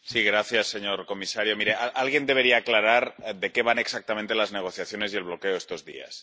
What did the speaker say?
Señor presidente, señor comisario, mire alguien debería aclarar de qué van exactamente las negociaciones y el bloqueo de estos días.